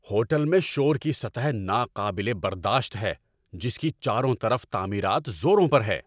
Hotel میں شور کی سطح ناقابل برداشت ہے، جس کی چاروں طرف تعمیرات زوروں پر ہیں۔